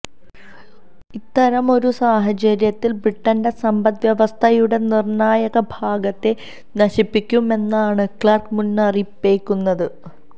ഇത്തരമൊരു സാഹചര്യത്തിൽ ബ്രിട്ടന്റെ സമ്പദ് വ്യവസ്ഥയുടെ നിർണായക ഭാഗത്തെ നശിപ്പിക്കുമെന്നാണ് ക്ലാർക്ക് മുന്നറിയിപ്പേകുന്നത്